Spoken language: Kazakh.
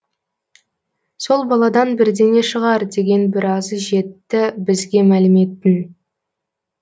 сол баладан бірдеңе шығар деген біразы жетті бізге мәліметтің